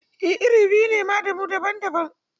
E, iri biyu ne ma da mu daban-daban